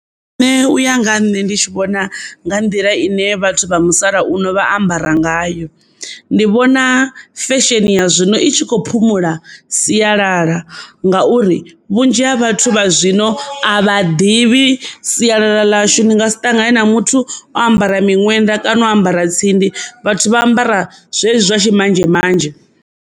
Nṋe u ya nga ha nṋe ndi tshi vhona nga nḓila ine vhathu vha musalauno vha ambara ngayo ndi vhona fesheni ya zwino i tshi kho phumula sialala ngauri vhunzhi ha vhathu vha zwino a vha ḓivhi sialala ḽashu ni ngasi ṱangane na muthu o ambara miṅwenda kana o ambara tsindi vhathu vha ambara zwezwi zwa tshimanzhemanzhe.